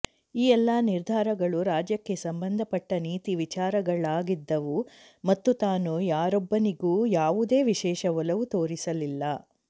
ಈ ಎಲ್ಲ ನಿರ್ಧಾರಗಳು ರಾಜ್ಯಕ್ಕೆ ಸಂಬಂಧಪಟ್ಟ ನೀತಿ ವಿಚಾರಗಳಾಗಿದ್ದವು ಮತ್ತು ತಾನು ಯಾರೊಬ್ಬನಿಗೂ ಯಾವುದೇ ವಿಶೇಷ ಒಲವು ತೋರಿಸಲಿಲ್ಲ